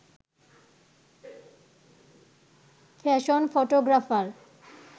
fashion photographer